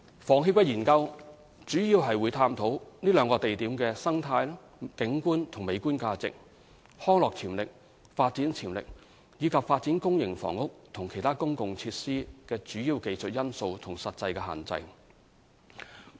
房協的研究將主要探討兩個地點的生態、景觀與美觀價值、康樂潛力、發展潛力，以及發展公營房屋和其他公共設施的主要技術因素和實際限制。